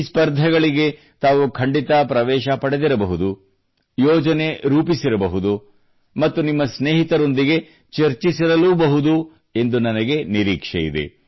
ಈ ಸ್ಪರ್ದೆಗಳಿಗೆ ತಾವು ಖಂಡಿತ ಪ್ರವೇಶ ಪಡೆದಿರಬಹುದು ಯೋಜನೆ ರೂಪಿಸಿರಬಹುದು ಮತ್ತು ನಿಮ್ಮ ಸ್ನೇಹಿತರೊಂದಿಗೆ ಚರ್ಚಿಸಿರಲೂಬಹುದು ಎಂದು ನನಗೆ ನಿರೀಕ್ಷೆಯಿದೆ